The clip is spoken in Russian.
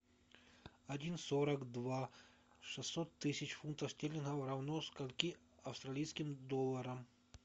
один сорок два шестьсот тысяч фунтов стерлингов равно скольки австралийским долларам